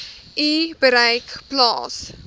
u bereik plaas